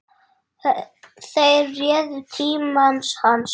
Þeir réðu tíma hans.